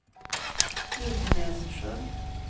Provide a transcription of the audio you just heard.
Ekenässjön